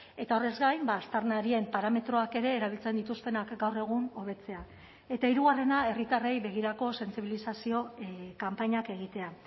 eta horrez gain aztarnarien parametroak ere erabiltzen dituztenak gaur egun hobetzea eta hirugarrena herritarrei begirako sentsibilizazio kanpainak egitea